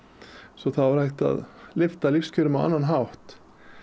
svo þá er hægt að lyfta lífskjörum á annan hátt